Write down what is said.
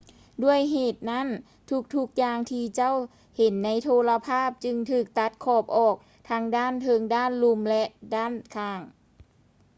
ດ້ວຍເຫດນັ້ນ ທຸກໆຢ່າງທີ່ເຈົ້າເຫັນໃນໂທລະພາບຈຶ່ງຖືກຕັດຂອບອອກ ທັງດ້ານເທິງ ດ້ານລຸ່ມ ແລະ ດ້ານຂ້າງ